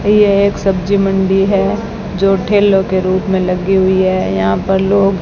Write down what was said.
यह एक सब्जी मंडी है जो ठेलो के रूप में लगी हुई है यहां पर लोग--